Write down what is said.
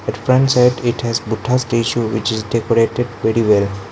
it front side it has buddha statue which is decorated very well.